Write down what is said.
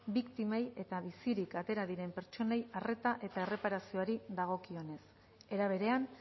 biktimei eta bizirik atera diren pertsonei arreta eta erreparazioari dagokionez era berean